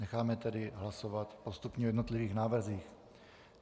Necháme tedy hlasovat postupně o jednotlivých návrzích.